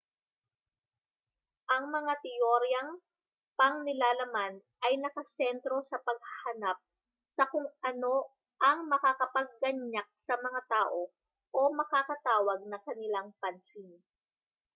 ang mga teoryang pangnilalaman ay nakasentro sa paghahanap sa kung ano ang makakapagganyak sa mga tao o makakatawag ng kanilang pansin